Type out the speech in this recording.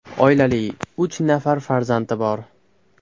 Oilali, uch nafar farzandi bor.